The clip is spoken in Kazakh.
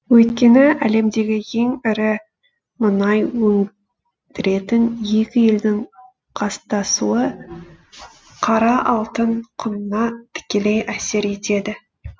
өйткені әлемдегі ең ірі мұнай өндіретін екі елдің қастасуы қара алтын құнына тікелей әсер етеді